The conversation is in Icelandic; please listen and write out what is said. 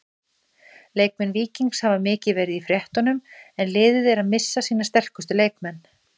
Leikmenn Víkings hafa mikið verið í fréttunum en liðið er að missa sína sterkustu leikmenn.